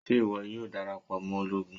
Ṣe iwọ yoo darapọ mọ ologun?